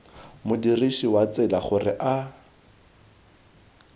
modirisi wa tsela gore a